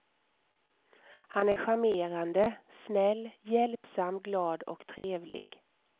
Han är charmerande, snäll, hjälpsam, glad och trevlig.